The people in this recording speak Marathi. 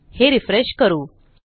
हे रिफ्रेश करू